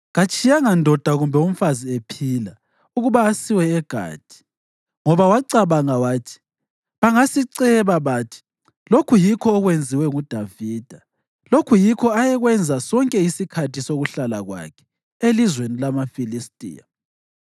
Katshiyanga ndoda kumbe umfazi ephila ukuba asiwe eGathi ngoba wacabanga wathi, “Bangasiceba bathi, ‘Lokhu yikho okwenziwe nguDavida.’ ” Lokhu yikho ayekwenza sonke isikhathi sokuhlala kwakhe elizweni lamaFilistiya.